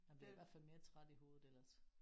Man bliver i hvert fald mere træt i hovedet ellers